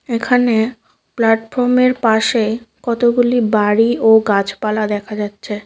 এখানে প্ল্যাটফর্মের পাশেই কতগুলি বাড়ি ও গাছপালা দেখা যাচ্ছে।